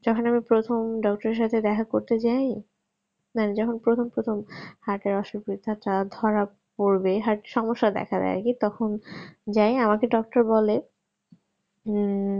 যেখানে আমি প্রথম doctor সাথে দেখা করতে যাই মানে প্রথম প্রথম heart এর অসুখ ধরা পড়বে আর সমস্যা দেখা দেয় কি তখন যাই আমাকে doctor বলে হম